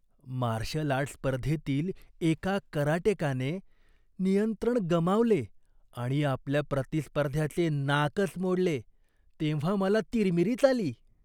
Marshal art स्पर्धेतील एका कराटेकाने नियंत्रण गमावले आणि आपल्या प्रतिस्पर्ध्याचे नाकच मोडले तेव्हा मला तिरमिरीच आली.